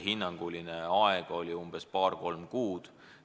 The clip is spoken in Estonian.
Hinnanguline aeg on umbes paar-kolm kuud.